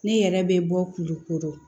Ne yɛrɛ bɛ bɔ kulukoro